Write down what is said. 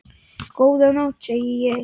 Góða nótt, segi ég.